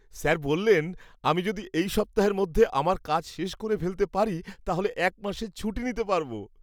Sir বললেন আমি যদি এই সপ্তাহের মধ্যে আমার কাজ শেষ করে ফেলতে পারি তাহলে এক মাসের ছুটি নিতে পারব!